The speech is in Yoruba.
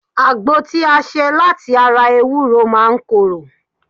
Àgbo tí a ṣe láti ara ewúro máa ń koro